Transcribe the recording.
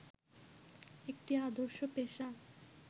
একটি আদর্শ পেশা